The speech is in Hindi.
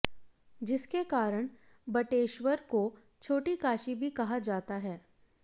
जिसके कारण बटेश्वर को छोटी काशी भी कहा जाता है